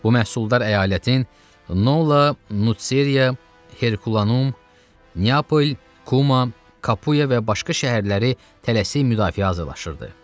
Bu məhsuldar əyalətin Nola, Nuseriya, Herkulanum, Neapol, Kuma, Kapuya və başqa şəhərləri tələsik müdafiə hazırlayırdı.